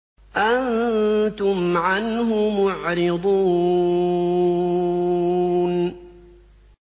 أَنتُمْ عَنْهُ مُعْرِضُونَ